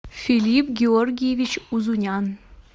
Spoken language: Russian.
филипп георгиевич узунян